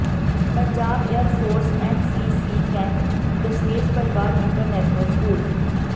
Punjab air force N C C camp Dashmesh Parivar international school